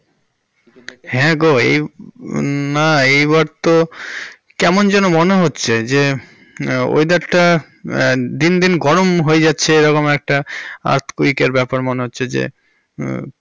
হ্যাঁ গো এই হুম না এই বার তো কেমন যেন মনে হচ্ছে যে weather টা হম দিন দিন গরম হয়ে যাচ্ছে এ রকম একটা earthquake এর ব্যাপার মনে হচ্ছে যে হম।